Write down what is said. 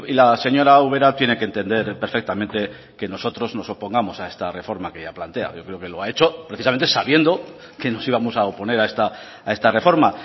la señora ubera tiene que entender perfectamente que nosotros no opongamos a esta reforma que ella plantea yo creo que lo ha hecho precisamente sabiendo que nos íbamos a oponer a esta reforma